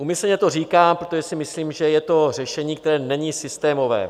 Úmyslně to říkám, protože si myslím, že je to řešení, které není systémové.